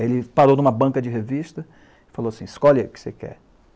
Ele parou em uma banca de revista e falou assim, escolhe o que você quer.